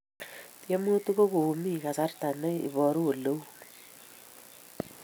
Tiemutik kokomin kasarta ne iporun oleu